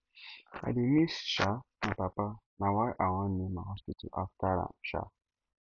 i dey miss um my papa na why i wan name my hospital after am um